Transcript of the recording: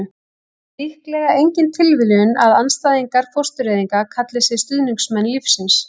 það er líklega engin tilviljun að andstæðingar fóstureyðinga kalli sig stuðningsmenn lífsins